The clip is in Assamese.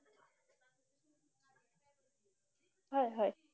হয়, হয়।